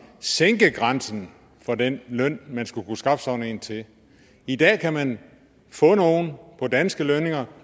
sænke grænsen for den løn man skal kunne skaffe sådan en til i dag kan man få nogle på danske lønninger